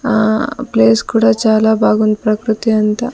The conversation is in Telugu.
ఆ ప్లేస్ కూడా చాలా బాగుంది ప్రకృతి అంతా.